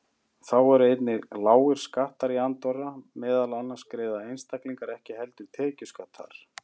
Þá eru einnig lágir skattar í Andorra, meðal annars greiða einstaklingar ekki heldur tekjuskatt þar.